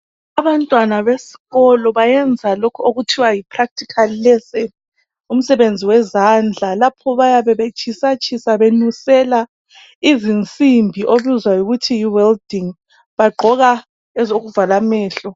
Abantwana besikolo bayenza lokho okuthiwa yipractical lesson. Umsebenzi wezandla. Lapho abayabe betshisatshisa, benusela izinsimbi. Okubizwa ngokuthi yiwelding. Bagqoka ezokuvala amehlo.